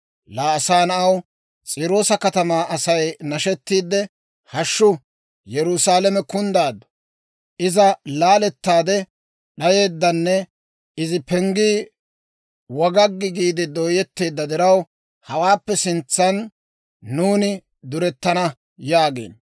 «Laa asaa na'aw, S'iiroosa katamaa Asay nashettiide, ‹Hashshu! Yerusaalame kunddaaddu; Iza laalettaade d'ayeeddanne, izi penggii wagaggi giide dooyetteedda diraw hawaappe sintsan nuuni duretana› yaagiino.